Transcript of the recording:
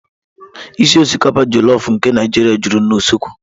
ísì osikapa jolofu nke Naijiria juru na usekwu.